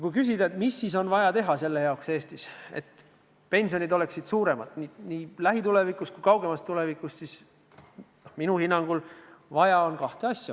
Kui küsida, et mida on Eestis vaja teha selle jaoks, et pension oleks suurem nii lähitulevikus kui ka kaugemas tulevikus, siis minu hinnangul on vaja kahte asja.